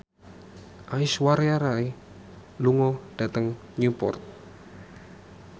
Aishwarya Rai lunga dhateng Newport